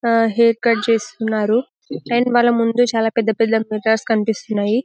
ఆ hair cut చేస్తున్నారు and మల్ల ముందు చాలా పెద్ద పెద్ద మిర్రర్స్ కనిపిస్తున్నాయి.